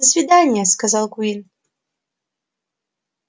до свидания сказал куинн